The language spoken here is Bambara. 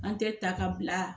An tɛ ta ka bila